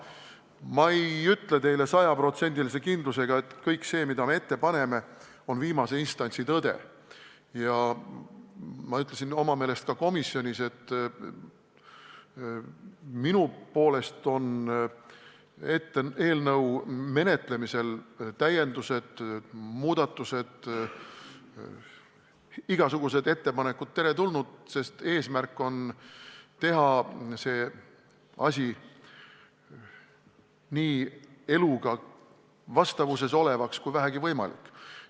Ma ei ütle teile sajaprotsendilise kindlusega, et kõik see, mida me ette paneme, on viimase instantsi tõde, ja enda meelest ütlesin ma ka komisjonis, et minu poolest on eelnõu menetlemisel igasugused täiendused, muudatused, ettepanekud teretulnud, sest eesmärk on teha see asi nii eluga vastavuses olevaks kui vähegi võimalik.